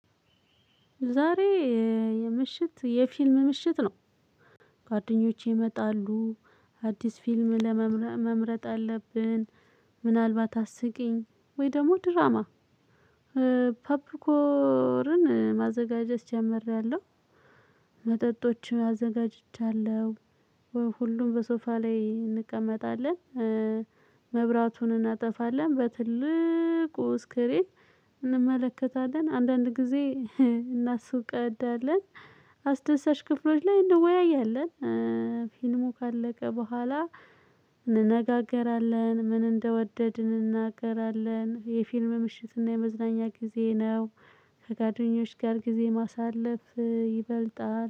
ዛሬ የምሽት የፊልም ምሽት ነው። ጓደኞቼ ይመጣሉ። አዲስ ፊልም መምረጥ አለብን። ምናልባት አስቂኝ ወይ ደግሞ ድራማ። ፐብሊኮርን ማዘጋጀት ጀምሬያለሁ መጠጦችን አዘጋጅቻለሁ። ሁሉም በሶፋ ላይ እንቀመጣለን። መብራቱን እናጠፋለን በትልቁ ስክሪን እንመለከታለን። አንዳንድ ጊዜ እናስፈቅዳለን። አስደሳች ክፍሎች ላይ እንወያያለን። ፊልሙ ካለቀ በኋላ እንነጋገራለን። ምን እንደወደድን እናገራለን የፊልም ምሽት እና የመዝናኛ ጊዜ ነው። ከጓደኞች ጋር ጊዜ ማሳለፍ ይበልጣል